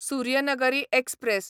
Suryanagari express